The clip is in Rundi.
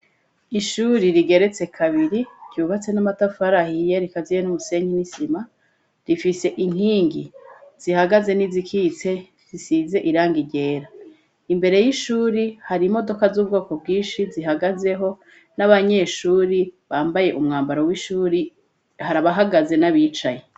Ishure rigeretse kabiri ryubatse n'amatafari ahiye rikaziye n'umusenyi n'isima, rifise inkingi zihagaze n'izikitse zisize irangi ryera, imbere y'ishure hari imodoka z'ubwoko bwinshi zihagazeho n'abanyeshure bambaye umwambaro w'ishure hari abahagaze n'abicaye.